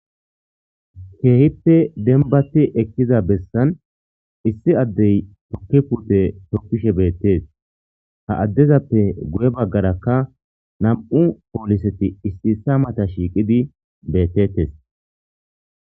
Keehippe denbati ekkiza bessan issi addey tokki purte toppishe beettees ha addezappe guye baggarakka nam'u pooliseti issi ssa mata shiiqidi beettettes